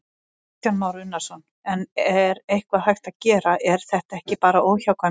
Kristján Már Unnarsson: En er eitthvað hægt að gera, er þetta ekki bara óhjákvæmilegt?